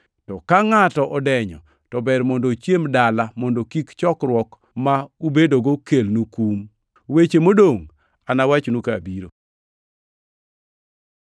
To ka ngʼato odenyo, to ber mondo ochiem dala, mondo kik chokruok ma ubedogo kelnu kum. Weche modongʼ anawachnu ka abiro.